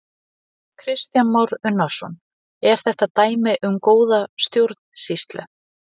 Kristján Már Unnarsson: Er þetta dæmi um góða stjórnsýslu?